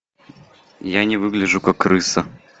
я не выгляжу как крыса